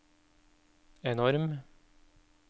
enorm